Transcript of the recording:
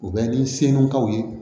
U bɛ ni selinakaw ye